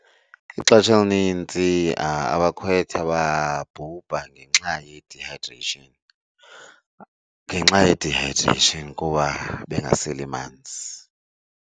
Ixesha elinintsi abakhwetha babhubha ngenxa ye-dehydration, ngenxa ye-dehydration kuba bengaseli manzi.